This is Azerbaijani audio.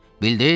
Bildiz?